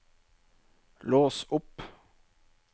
lås opp